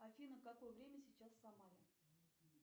афина какое время сейчас в самаре